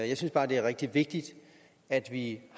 jeg synes bare det er rigtig vigtigt at vi